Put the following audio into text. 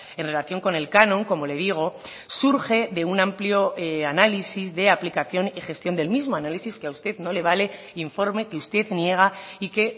en relación con el canon como le digo surge de un amplio análisis de aplicación y gestión del mismo análisis que a usted no le vale informe que usted niega y que